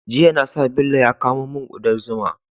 Jiya na sa Bello ya kamo mun kudar zuma